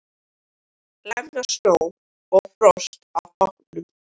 Lemja snjó og frost af bátnum.